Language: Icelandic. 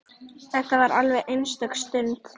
Þetta var alveg einstök stund.